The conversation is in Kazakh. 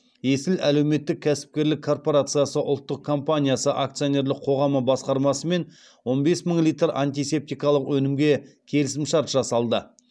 есіл әлеуметтік кәсіпкерлік корпорациясы ұлттық компаниясы акционерлік қоғамы басқармасымен он бес мың литр антисептикалық өнімге келісімшарт жасалды